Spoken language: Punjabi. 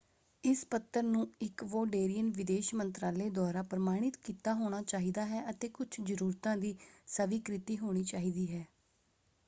ਇਸ ਪੱਤਰ ਨੂੰ ਇਕਵੋਡੇਰੀਅਨ ਵਿਦੇਸ਼ ਮੰਤਰਾਲੇ ਦੁਆਰਾ ਪ੍ਰਮਾਣਿਤ ਕੀਤਾ ਹੋਣਾ ਚਾਹੀਦਾ ਹੈ ਅਤੇ ਕੁਝ ਜ਼ਰੂਰਤਾਂ ਦੀ ਸਵੀਕ੍ਰਿਤੀ ਹੋਣੀ ਚਾਹੀਦੀ ਹੈ।